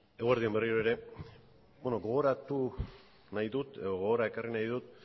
eguerdi on berriro ere gogoratu nahi dut edo gogora ekarri nahi dut